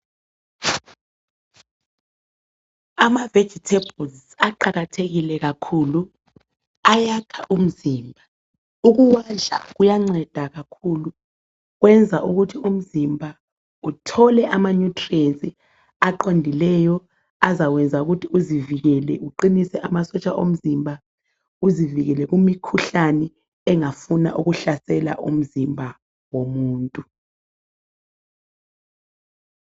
Ama vegetables aqakathekile kakhulu ayakha umzimba ukuwadla kuyanceda kakhulu kuyenza ukuthi umzimba uthole ama nutrients aqondileyo azakwenza ukuthi uzivikele uqinise amasotsha omzimba uzivikele kumikhuhlane engafuna ukuhlasela umzimba womuntu